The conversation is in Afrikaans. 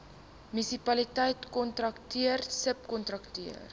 munisipaliteit kontrakteur subkontrakteur